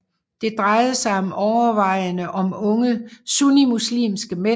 Det drejede sig overvejende om unge sunnimuslimske mænd